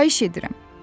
Xahiş edirəm.